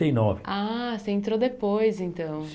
e nove Ah, você entrou depois então.